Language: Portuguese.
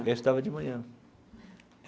Eu estudava de manhã.